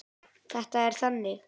Þetta er þannig.